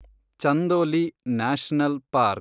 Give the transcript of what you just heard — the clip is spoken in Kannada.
Chandoli national park